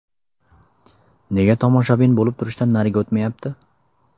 Nega tomoshabin bo‘lib turishdan nariga o‘tmayapti?